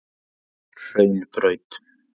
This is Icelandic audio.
Hraunbraut